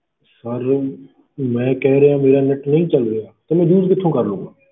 Sir ਮੈਂ ਕਹਿ ਰਿਹਾਂ ਮੇਰਾ net ਨਹੀਂ ਚੱਲ ਰਿਹਾ ਤਾਂ ਮੈਂ use ਕਿੱਥੋਂ ਕਰ ਲਊਂਗਾ।